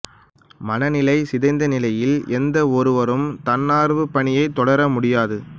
மனநிலை சிதைந்த நிலையில் எந்த ஒருவரும் தன்னார்வப் பணியை தொடரமுடியாது